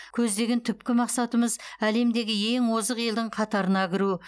көздеген түпкі мақсатымыз әлемдегі ең озық елдің қатарына кіру